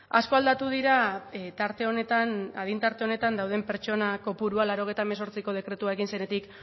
asko aldatu dira tarte honetan adin tarte honetan dauden pertsona kopurua laurogeita hemezortziko dekretua egin zenetik